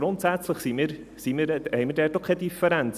Grundsätzlich haben wir dort auch keine Differenz.